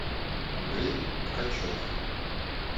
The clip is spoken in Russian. андрей ткачев